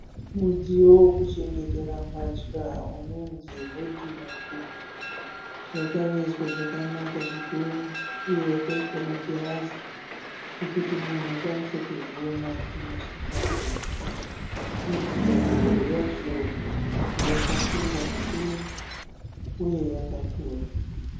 Mudziyo wekuchengetera mbatya unonzi hodhirobhu. Yakavezwa zvakanaka zvikuru uye yakaiswa magirazi ekuti munhu akwanise kuzviona kumeso kwake. Hodhirobhu yacho yakasimba zvikuru uye yakakura